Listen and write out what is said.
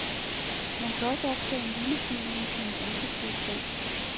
Man kan også optage en lille film med sine ansigtsudtryk.